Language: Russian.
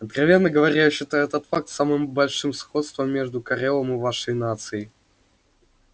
откровенно говоря я считаю этот факт самым большим сходством между корелом и вашей нацией